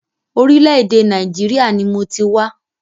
Orílẹ̀-èdè Nàìjíríà ni mọ ti wá.